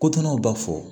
Kotonnaw b'a fɔ